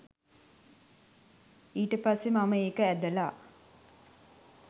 ඊට පස්සේ මම ඒක ඇදලා